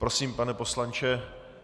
Prosím, pane poslanče.